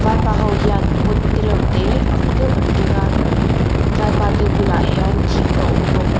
vaipa ho hian pot te reuh te ang deuh an keng a vaipa te bulah hian thing a awm bawk .